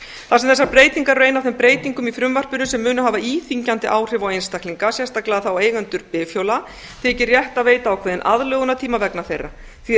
þar sem þessar breytingar er ein af þeim breytingum í frumvarpinu sem hafa íþyngjandi áhrif á einstaklinga sérstaklega þá eigendur bifhjóla þykir rétt að veita ákveðinn aðlögunartíma vegna þeirra því er